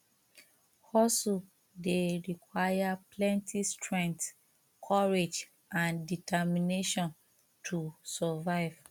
hustle dey require plenty strength courage and determination to survive